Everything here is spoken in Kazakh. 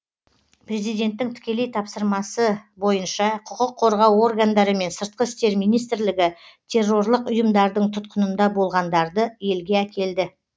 президенттің тікелей тапсырмасы бойынша құқық қорғау органдары мен сыртқы істер министрлігі террорлық ұйымдардың тұтқынында болғандарды елге әкелді